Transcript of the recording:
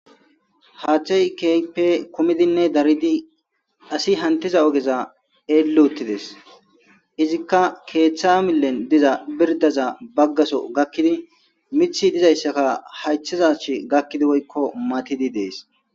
haachchey keype kumidinne daridi asi hantiza ogeza eelluuttides izikka keeththa millen diza birdaza baggaso gakkidi mithi dizayssaka haythizach gakkidi woykko matidi dees